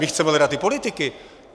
My chceme leda ty politiky.